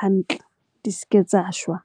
hantle. Di s'ke tsa shwa.